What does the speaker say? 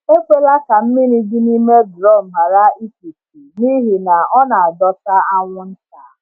Ekwela ka mmiri dị n’ime drọm ghara ikpuchi, n’ihi na ọ na-adọta anwụnta.